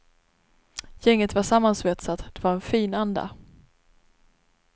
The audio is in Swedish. Gänget var sammansvetsat, det var en fin anda.